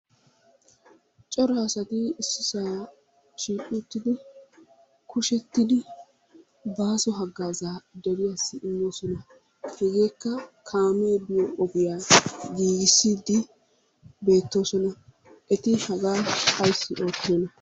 Cora asati issisaa shiiqi uttidi kushettidi baaso haggaazaa deriyassi immoosona. Hegeekka kaamee biyo ogiya giigissiiddi beettoosona. Eti hagaa ayssi oottiyonaa?